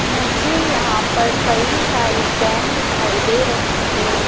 मुझे यहां पर कई सारी कैन दिखाई दे रही हैं।